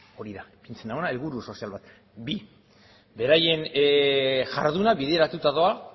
hori da helburu sozial bat daukate bi beraien jarduna bideratuta doa